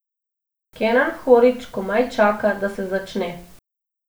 Kenan Horić komaj čaka, da se začne.